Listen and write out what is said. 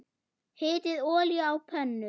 Hitið olíu á pönnu.